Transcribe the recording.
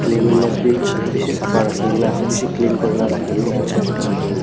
bi beshi sabha rakhikena ase beshi clean kurikena rakhikena ase.